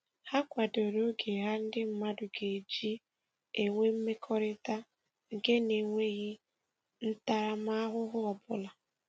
Ha kwadoro oge ha ndị mmadụ ga-eji enwe mmekọrịta nke na - eweghi ntaramahụhụ ọbụla